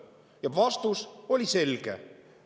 Ja vastus oli selge.